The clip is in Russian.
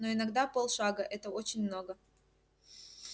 но иногда полшага это очень много